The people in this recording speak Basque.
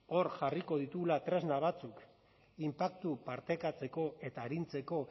hor jarriko ditugula tresna batzuk inpaktua partekatzeko eta arintzeko